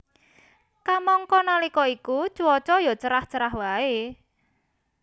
Kamangka nalika iku cuaca ya cerah cerah waé